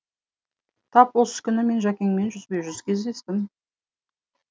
тап осы күні мен жәкеңмен жүзбе жүз кездестім